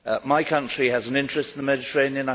My country has an interest in the Mediterranean.